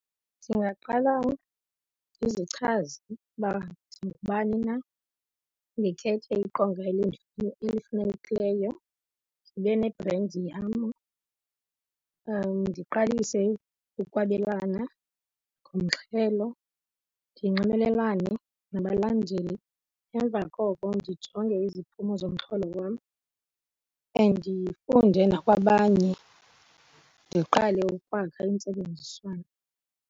Ndingaqala ndizichaze ukuba ndingubani na, ndikhethe iqonga elifanelekileyo, ndibe nebhrendi yam, ndiqalise ukwabelana ngomxhelo ndinxibelelane nabalandeli, emva koko ndijonge iziphumo zomxholo wam and ndifunde nakwabanye, ndiqale ukwakha intsebenziswano.